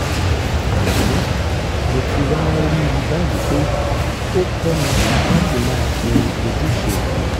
àmọ́ mo ti wá rí i báyìí pé ó kọ́ mi láti máa ṣe ojúṣe mi